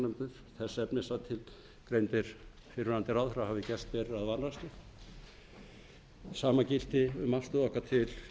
hafi gert sig seka um vanrækslu sama gilti um afstöðu okkar til